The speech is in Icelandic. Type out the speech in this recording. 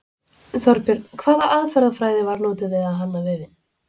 Þorbjörn: Hvaða aðferðafræði var notuð við að hanna vefinn?